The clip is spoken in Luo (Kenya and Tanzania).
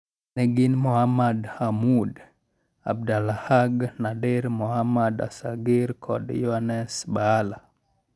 Ne gin Muhammad Hammoud, Abdelahaq Nadir, Mohammed Assaghir kod Youness Baala.